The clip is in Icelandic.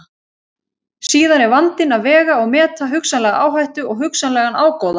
Síðan er vandinn að vega og meta hugsanlega áhættu og hugsanlegan ágóða.